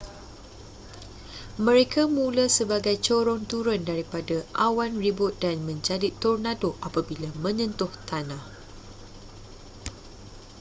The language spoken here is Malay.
mereka mula sebagai corong turun daripada awan ribut dan menjadi tornado apabila menyentuh tanah